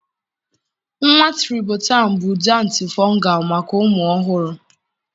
nwa tribotan bụ ude antifungal maka ụmụ ọhụrụ.